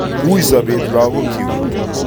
Wui sobet lakokyuk